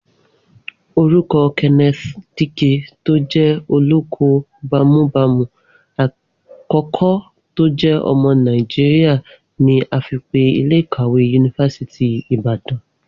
Orúkọ Kenneth Dike tó jẹ́ olóko-bámúbamù àkọ́kọ́ tó jẹ́ ọmọ Nàìjíríà ni a fi pe ilé ìkàwé yunifásítì Ìbàdàn